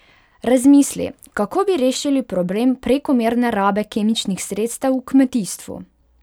Razmisli, kako bi rešili problem prekomerne rabe kemičnih sredstev v kmetijstvu?